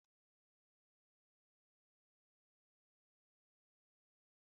Saidin Taitus na-eme ka sandwichi dị ụtọ